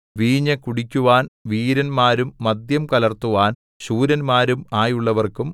വീഞ്ഞു കുടിക്കുവാൻ വീരന്മാരും മദ്യം കലർത്തുവാൻ ശൂരന്മാരും ആയുള്ളവർക്കും